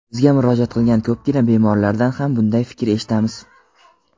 Bizga murojaat qilgan ko‘pgina bemorlardan ham bunday fikr eshitamiz.